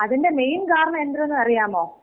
അതിന്‍റെ മെയിൻ കാരണം എന്തരന്ന് അറിയാമോ?